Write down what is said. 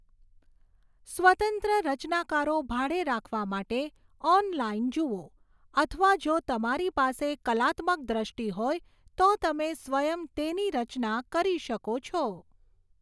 સ્વતંત્ર રચનાકારો ભાડે રાખવા માટે ઓનલાઇન જુઓ અથવા જો તમારી પાસે કલાત્મક દ્રષ્ટિ હોય તો તમે સ્વયં તેની રચના કરી શકો છો.